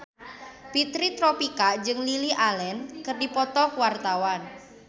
Fitri Tropika jeung Lily Allen keur dipoto ku wartawan